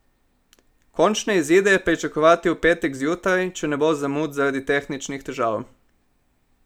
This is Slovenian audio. Končne izide je pričakovati v petek zjutraj, če ne bo zamud zaradi tehničnih težav.